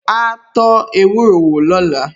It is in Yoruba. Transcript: Áá tó ewúro wò lóla